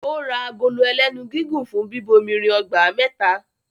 Ó ra agolo ẹlénu gígùn fún bíbomirin ọgbà mẹ́ta